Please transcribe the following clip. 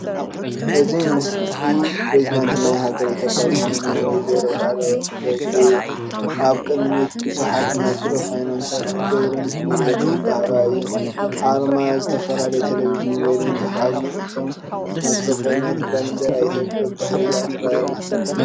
እዚ ምስሊ ፕሬዝዳንት ናይ ሃገር ኢትዮጵያ ዝኮነ ወ/ሮ ሳህለውርቅ ዘውዴ እየን። ኣብ ቅድሚን ቡዝሓት ማይክሮፎናትን ገይረን መግለፂ እንዳሃባ እየን። ኣርማ ዝተፈላለዩ ተሌቪዥንን ሬድዮን ዝሓዙ እዮም እቶም ማይክሮፎናት። ባንዴራ ኢትዮጵያ ብድሕሪኣ ትረአ ኣላ።